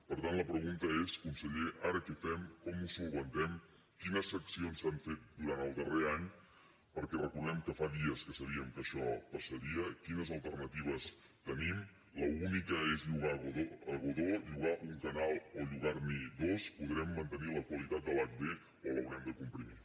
per tant la pregunta és conseller ara què fem com ho resolem quines accions s’han fet durant el darrer any perquè recordem que fa dies que sabíem que això passaria quines alternatives tenim l’única és llogar a godó llogar un canal o llogarli’n dos podrem mantenir la qualitat de l’hd o l’haurem de comprimir